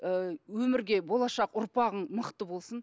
ы өмірге болашақ ұрпағың мықты болсын